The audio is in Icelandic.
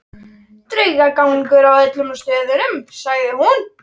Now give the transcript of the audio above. Þar eru einnig stjórnarmenn forlagsins Svarts á hvítu.